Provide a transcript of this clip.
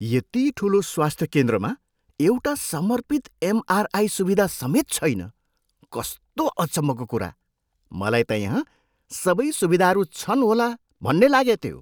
यति ठुलो स्वास्थ्य केन्द्रमा एउटा समर्पित एमआरआई सुविधा समेत छैन? कस्तो अचम्मको कुरा! मलाई त यहाँ सबै सुविधाहरू छन् होला भन्ने लागेथ्यो।